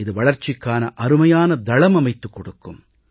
இது வளர்ச்சிக்கான அருமையான தளம் அமைத்துக் கொடுக்கும்